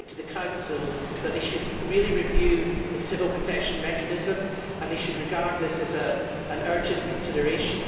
I put it to the Council that they should really review the civil protection mechanism and that they should regard this as an urgent consideration.